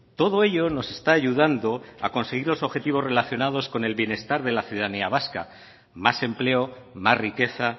todo ello nos está ayudando a conseguir los objetivos relacionados con el bienestar de la ciudadanía vasca más empleo más riqueza